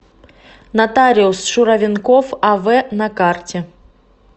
нотариус шуравенков ав на карте